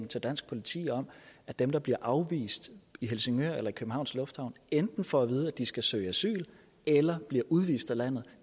til dansk politi om at dem der bliver afvist i helsingør eller i københavns lufthavn enten får at vide at de skal søge asyl eller bliver udvist af landet